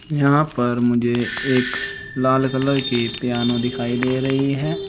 यहां पर मुझे एक लाल कलर की पियानो दिखाई दे रही है।